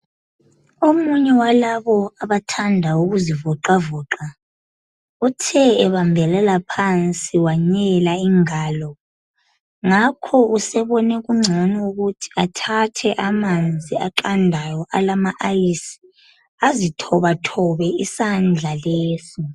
Omunye walabo abathanda ukuzivoxavoxa, uthe ebambelela phansi wenyela ingalo. Ngakho usebone kungcono ukuthi athathe amanzi aqandayo alongqwaqwa, azithobathobe isandla lesi.